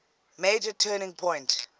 major turning point